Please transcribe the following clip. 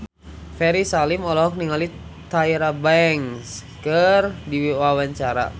Ferry Salim olohok ningali Tyra Banks keur diwawancara